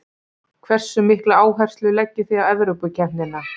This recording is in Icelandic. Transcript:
Hversu mikla áherslu leggið þið á Evrópukeppnina?